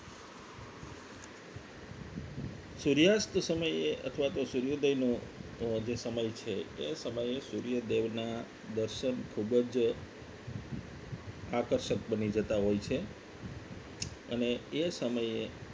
સૂર્યાસ્ત સમયે અથવા તો સૂર્યોદયનો જે સમય છે એ સમયે સૂર્યદેવ ના દર્શન ખૂબ જ આકર્ષક બની જતા હોય છે અને એ સમયે